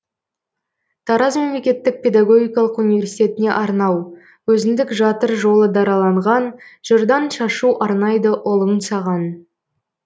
тараз мемлекеттік педагогикалық университетіне арнау өзіндік жатыр жолы дараланған жырдан шашу арнайды ұлың саған